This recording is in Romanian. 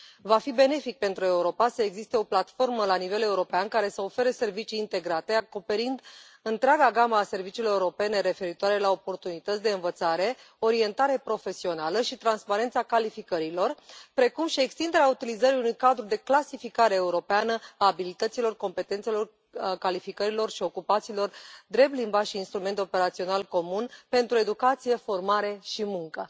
Va fi benefic pentru Europa să existe o platformă la nivel european care să ofere servicii integrate, acoperind întreaga gamă a serviciilor europene referitoare la oportunități de învățare, orientare profesională și transparența calificărilor, precum și extinderea utilizării unui cadru de clasificare europeană a abilităților, competențelor, calificărilor și ocupațiilor drept limbaj și instrument operațional comun pentru educație, formare și muncă.